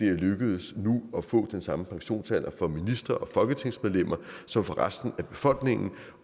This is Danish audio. er lykkedes at få den samme pensionsalder for ministre og folketingsmedlemmer som for resten af befolkningen